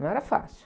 Não era fácil.